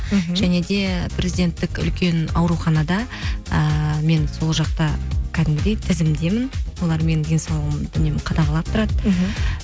мхм және де президенттік үлкен ауруханада ііі мен сол жақта кәдімгідей тізімдемін олар менің денсаулығымды үнемі қадағалап тұрады мхм